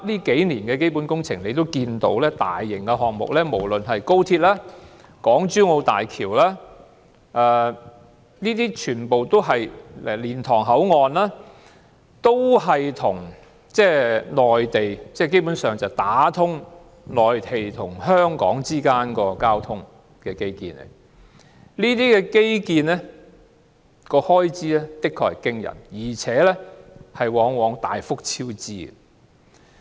近年的基本工程及大型項目，不論是高鐵、港珠澳大橋或蓮塘口岸，大體上全屬打通內地和香港交通的基建，而這些基建的開支的確驚人，且往往大幅超支。